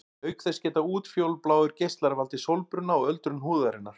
Auk þess geta útfjólubláir geislar valdið sólbruna og öldrun húðarinnar.